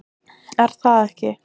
Er það ekki?